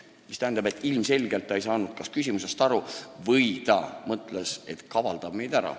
Mis tähendab, et ilmselgelt ta ei saanud kas küsimusest aru või ta mõtles, et kavaldab meid üle.